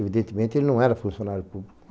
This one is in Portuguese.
Evidentemente, ele não era funcionário público.